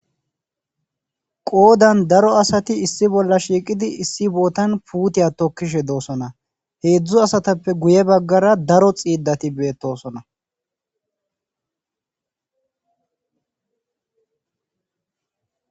Qodan daro asati issi bolla shiqqidi issi botan puutiya tokish de'osona. Hezdzdu asatappe guye bagara daro xidati betosona.